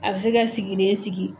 A bɛ se ka sigi den sigi